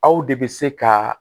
Aw de bɛ se ka